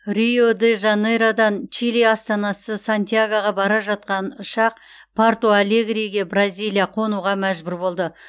рио де жанейродан чили астанасы сантьягоға бара жатқан ұшақ порту алегриге бразилия қонуға мәжбүр болды